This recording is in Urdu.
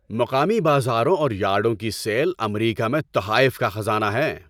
مقامی بازاروں اور یارڈوں کی سیل امریکہ میں تحائف کا خزانہ ہیں۔